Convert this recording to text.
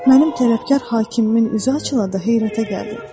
Mənim tərəfkeş hakimimin üzü açılanda heyrətə gəldim.